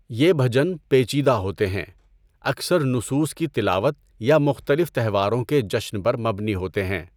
یہ بھجن پیچیدہ ہوتے ہیں، اکثر نصوص کی تلاوت یا مختلف تہواروں کے جشن پر مبنی ہوتے ہیں۔